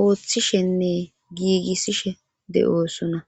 ooththishenne giigissishe de7oosona